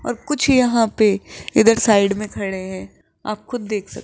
और कुछ यहां इधर साइड में खड़े है आप खुद देख स--